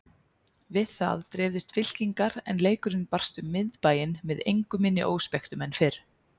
Við það dreifðust fylkingar en leikurinn barst um Miðbæinn með engu minni óspektum en fyrr.